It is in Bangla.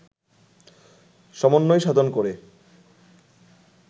সমন্বয় সাধন করে